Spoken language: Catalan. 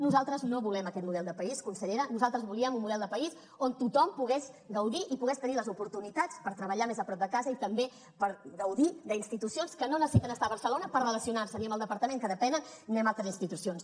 nosaltres no volem aquest model de país consellera nosaltres volíem un model de país on tothom pogués gaudir i pogués tenir les oportunitats per treballar més a prop de casa i també per gaudir d’institucions que no necessiten estar a barcelona per relacionar se ni amb el departament que depenen ni amb altres institucions